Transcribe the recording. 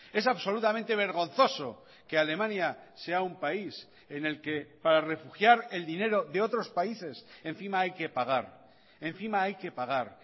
es absolutamente vergonzoso que alemania sea un país en el que para refugiar el dinero de otros países encima hay que pagar encima hay que pagar